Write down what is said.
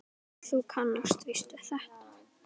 Þú kannast víst við þetta!